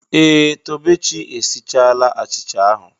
Ee! Tobechi esichala achịcha ahụ.